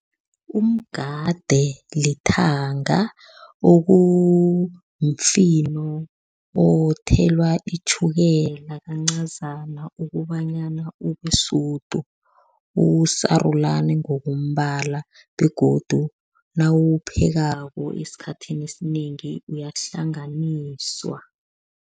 Umgade lithanga, okumfino othelwa itjhukela kancazana ukobanyana ube sudu. Usarulani ngokombala begodu nawuwuphekako esikhathini esinengi, uyahlanganiswa.